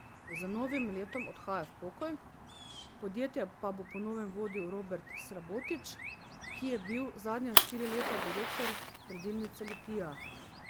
Z novim letom odhaja v pokoj, podjetje pa bo po novem vodil Robert Srabotič, ki je bil zadnja štiri leta direktor Predilnice Litija.